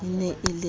mabitleng e ne e le